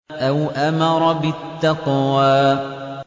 أَوْ أَمَرَ بِالتَّقْوَىٰ